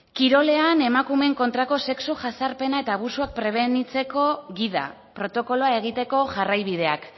kirolean emakumeen kontrako sexu jazarpena eta abusuak prebenitzeko gida protokoloa egiteko jarraibideak